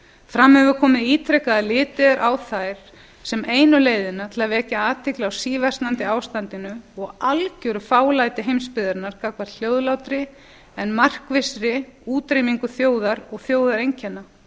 fram hefur komið ítrekað að litið er á þær sem einu leiðina til að vekja athygli á síversnandi ástandinu og algeru fálæti heimsbyggðarinnar gagnvart hljóðlátri en markvissri útrýmingu þjóðar og þjóðareinkenna